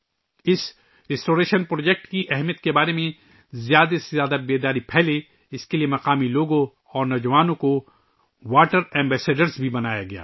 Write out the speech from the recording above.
اس بحالی پر؎وجیکٹ کی اہمیت کے بارے میں زیادہ سے زیادہ آگاہی پھیلانے کے لئے مقامی لوگوں اور نوجوانوں کو واٹر ایمبیسیڈر بھی بنایا گیا